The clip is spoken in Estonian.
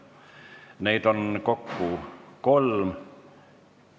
Neid on kokku kolm.